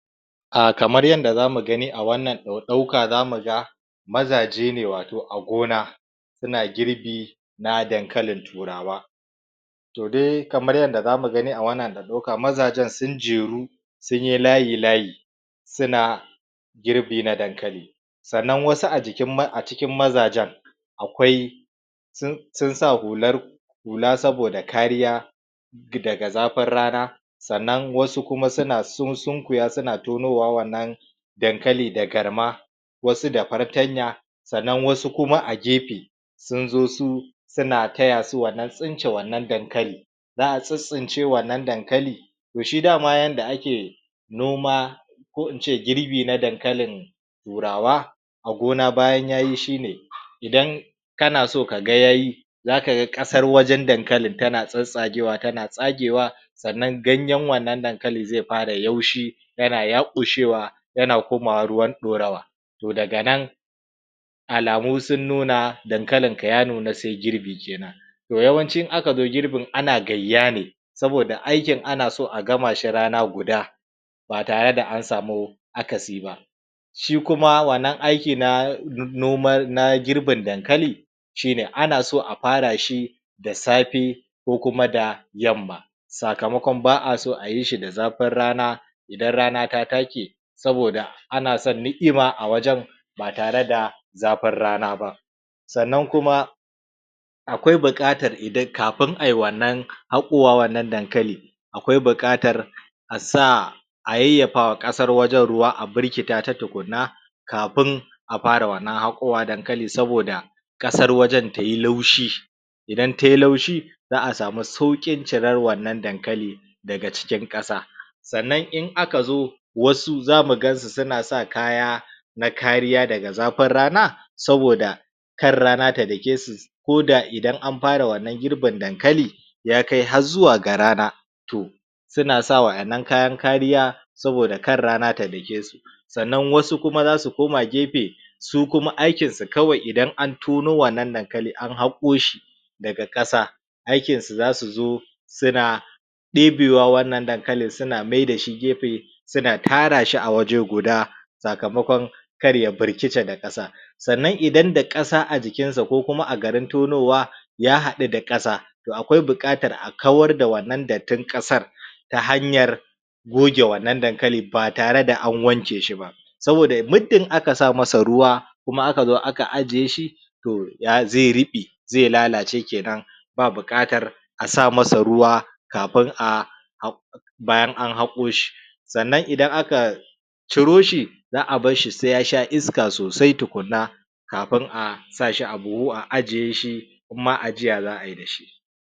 A kamar yanda zamu gani a wannan ɗauka zamu ga mazaje ne wato a gona suna girbi na dankalin turawa toh dai kamar yadda zamu gani a wannan ɗauka, mazajen sun jeru sunyi layi-layi suna girbi na dankali sannan wasu a jikin.. acikin mazajen akwai sun sun sa hular hula saboda kariya daga zafin rana sannan wasu kuma suna sun.. sun.. kuya suna tonowa wannan dankali da garma wasu da fartanya sannan wasu kuma a gefe sun zo su suna taya su wannan tsince wannan dankali za'a tsitstsince wannan dankali toh shi dama yanda ake noma ko ince girbi na dankalin turawa a gona bayan yayi shi ne idan kana so kaga yayi zaka ga ƙasar wajen dankalin tana tsatstsagewa tana tsagewa sannan ganyen wannan dankali zai fara yaushi yana yaƙushewa yana komawa ruwan ɗorawa toh daga nan alamu sun nuna dankalin ka ya nuna sai girbi kenan toh yawanci in aka zo girbin ana gayya ne saboda aikin ana so a gama shi rana guda ba tare da an samu akasi ba shi kuma wannan aikin na noma na girbin dankali shi ne ana so a fara shi da safe ko kuma da yamma sakamakon ba'a so ayi shi da zafin rana idan rana ta take saboda ana son ni'ima a wajen tare da zafin rana ba sannan kuma akwai buƙatar idan kafin ai wannan haƙowa wannan dankali akwai buƙatar a sa a yayyafa wa ƙasar wajen ruwa a birkita ta tukunna kafin a fara wannan haƙowa dankali saboda ƙasar wajen tayi laushi idan tayi laushi za'a samu sauƙin cirar wannan dankali daga cikin ƙasa sannan in aka zo wasu zamu gansu suna sa kaya na kariya daga zafin rana saboda kar rana ta dake su koda idan an fara wannan girbin dankali ya kai har zuwa ga rana toh sunasa wa'innan kayan kariya saboda kar rana ta dake su sannan wasu kuma zasu koma gefe su kuma aikinsu kawai idan an tono wannan dankali an haƙo shi daga ƙasa aikin su zasu zo suna ɗebewa wannan dankali suna maida shi gefe suna tara shi a waje guda sakamakon kar ya birkice da ƙasa sannan idan da ƙasa a jikinsa ko kuma a garin tonowa ya haɗu da ƙasa toh akwai buƙatar a kawar da wannan dattin ƙasar ta hanyar goge wannan dankali ba tare da an wanke shi ba saboda muddin aka sa masa ruwa kuma aka zo aka ajiye shi toh ya zai ruɓe zai lalace kenan ba buƙatar a sa masa ruwa kafin a bayan an haƙo shi sannan idan aka ciro shi za'a barshi sai yasha iska sosai tukunna kafin a sa shi a buhu a ajiye shi in ma ajiya za'a yi dashi